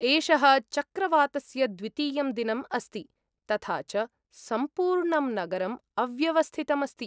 एषः चक्रवातस्य द्वितीयं दिनम् अस्ति, तथा च सम्पूर्णं नगरम् अव्यवस्थितम् अस्ति।